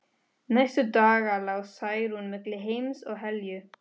Næstu daga lá Særún milli heims og helju.